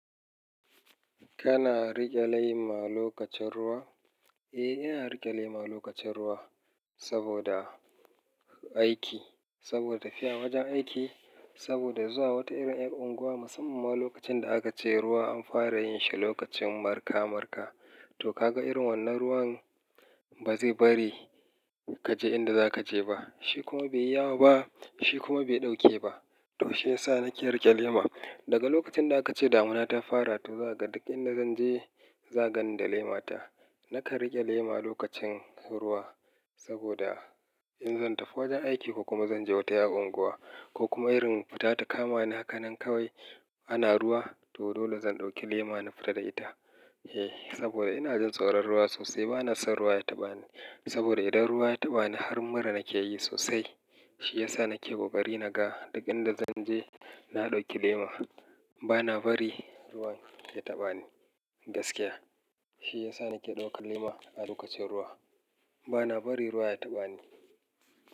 Kana rike lema lokacin ruwa? Eh, ina rike lema lokacin ruwa saboda aiki, saboda tafiya wajen aiki, saboda zuwa wata irin 'yar unguwa musamman lokacin da aka ce ruwa an fara yin shi lokacin marka-marka. To kaga irin wannan ruwan ba zai bari ka je inda za ka je ba, shi kuma bai iya wa ba, shi kuma bai ɗauke ba. To shi ya sa nake rike lema. Daga lokacin da aka ce damuna ta fara, to zakaga duk inda zan je, zagani da lema ta. Naka rike lema lokacin ruwa saboda in zan tafi wajen aiki ko kuma zan je wata 'yar unguwa ko kuma irin fita ta kama ni a haka nan kawai ana ruwa, to dole zan ɗauki lema na fita da ita. Eh, saboda ina jin tsoron ruwa sosai, bana son ruwa ya taɓa ni. Saboda idan ruwa ya taɓa ni har mura nake yi sosai. Shi ya sa nake kokari naga duk inda zan je, na ɗauki lema. Bana bari ruwan ya taɓa ni gaskiya. Shi ya sa nake ɗaukar lema a lokacin ruwa. Bana bari ruwa ya taɓa ni.